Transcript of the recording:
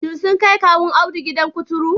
Shin sun kai Kawun Audu gidan kuturu